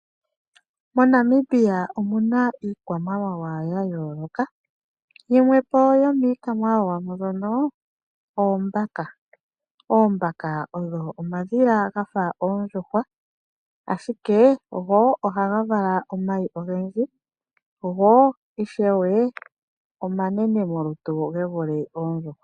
MoNamibia omu na iikwamawawa ya yooloka. Yimwe po yomiikwamawawa mbyono oombaka. Oombaka odho omadhila ga fa oondjuhwa ashike go ohaga vala omayi ogendji, go ishewe omanene molutu ge vule oondjuhwa.